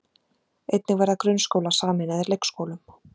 Einnig verða grunnskólar sameinaðir leikskólum